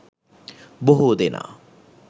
බොහෝ දෙනා